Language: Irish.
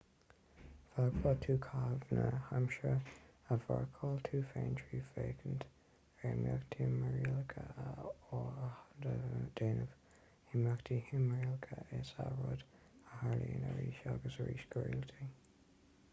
féadfaidh tú caitheamh na haimsire a mharcáil tú féin trí fhéachaint ar imeacht timthriallach á áthdhéanamh imeacht timthriallach is ea rud a tharlaíonn arís agus arís go rialta